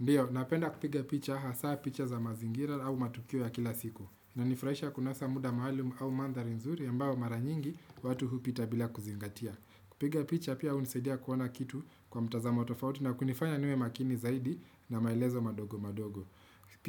Ndiyo, napenda kupiga picha hasaa picha za mazingira au matukio ya kila siku. Na nifurahisha kunasa muda mahali au mandhari nzuri ambayo mara nyingi watu hupita bila kuzingatia. Kupiga picha pia unisaidia kuona kitu kwa mtazamo tofauti na kunifanya niwe makini zaidi na maelezo madogo madogo.